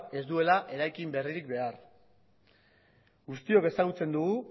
ez duela eraikin berririk behar guztiok ezagutzen dugu